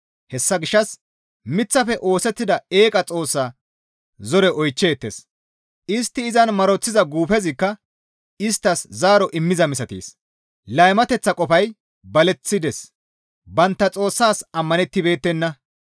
Hessa gishshas miththafe oosettida eeqa xoossa zore oychcheettes; istti izan maroththiza guufezikka isttas zaaro immiza misatees; laymateththa qofay baleththides; bantta Xoossaas ammanettibeettenna.